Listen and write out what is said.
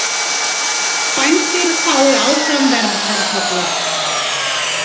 Bændur fái áfram verndartolla